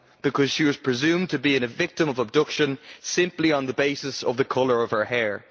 Because she was presumed to have been the victim of abduction simply on the basis of the colour of her hair.